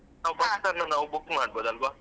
ನಾವ್ bus ಅನ್ನ ನಾವು book ಮಾಡ್ಬೋದು ಅಲ್ವಾ?